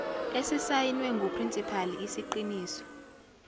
esisayinwe nguprinsipali isiqiniso